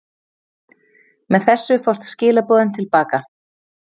Með þessu fást skilaboðin til baka.